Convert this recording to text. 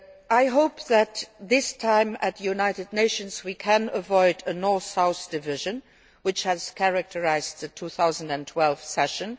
this. I hope that this time at the United Nations we can avoid the North South division which characterised the 2012 session.